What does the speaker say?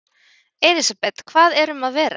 Elísabet, hvað erum að vera?